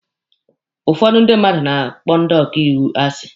Ụfọdụ ndị mmadụ na-akpọ ndị ọkaiwu asi.